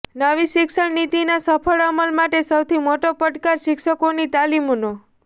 નવી શિક્ષણ નીતિના સફળ અમલ માટે સૌથી મોટો પડકાર શિક્ષકોની તાલીમનો